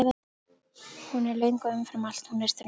Hún er löng og umfram allt: Hún er þröng.